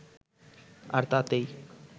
আর তাতেই